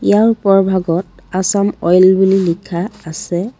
ইয়াৰ ওপৰ ভাগত আছাম অইল বুলি লিখা আছে।